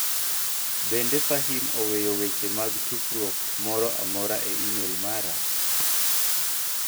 Bende Fahim oweyo weche mag tufruok moro amora e imel mare?